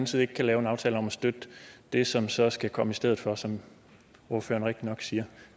side ikke kan lave en aftale om at støtte det som så skal komme i stedet for som ordføreren nok siger